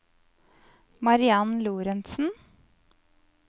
Mariann Lorentzen